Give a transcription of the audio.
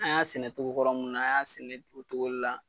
An y'a sɛnɛ cogo kɔrɔ min na, a y'a sɛnɛ o cogo de la